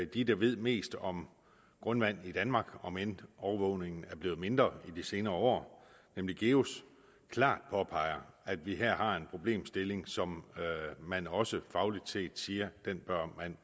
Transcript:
de der ved mest om grundvand i danmark omend overvågningen er blevet mindre i de senere år nemlig geus klart påpeger at vi her har en problemstilling som man også fagligt set siger man